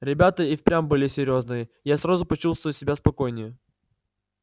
ребята и впрямь были серьёзные я сразу почувствовал себя спокойнее